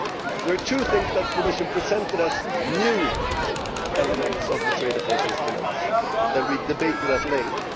There are two things that the Commission presented as new' elements of the trade defence instruments that we debated at length.